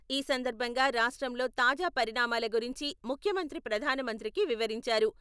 ఈ సందర్భంగా రాష్ట్రంలో తాజా పరిణామాల గురించి ముఖ్యమంత్రి ప్రధానమంత్రికి వివరించారు.